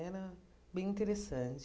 Era bem interessante.